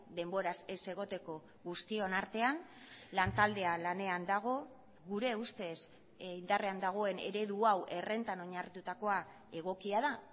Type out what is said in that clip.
denboraz ez egoteko guztion artean lantaldea lanean dago gure ustez indarrean dagoen eredu hau errentan oinarritutakoa egokia da